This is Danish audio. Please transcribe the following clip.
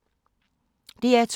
DR2